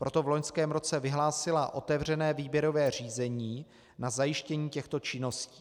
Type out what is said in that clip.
Proto v loňském roce vyhlásila otevřené výběrové řízení na zajištění těchto činností.